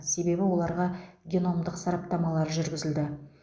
себебі оларға геномдық сараптамалар жүргізілді